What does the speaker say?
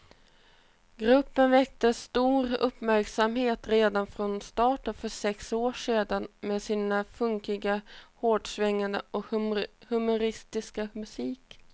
Gruppen väckte stor uppmärksamhet redan från starten för sex år sedan med sin funkiga, hårdsvängande och humoristiska musik.